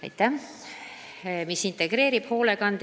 Aitäh!